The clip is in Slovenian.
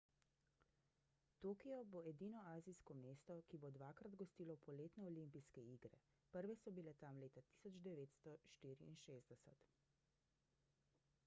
tokio bo edino azijsko mesto ki bo dvakrat gostilo poletne olimpijske igre prve so bile tam leta 1964